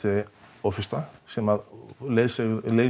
ofursta sem